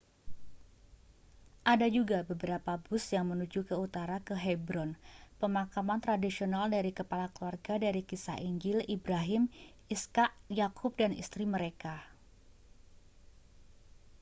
ada juga beberapa bus yang menuju ke utara ke hebron pemakaman tradisional dari kepala keluarga dari kisah injil ibrahim ishak yakub dan istri mereka